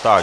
Tak.